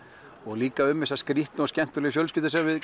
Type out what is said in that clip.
líka um þessa skrítnu og skemmtilegu fjölskyldu sem við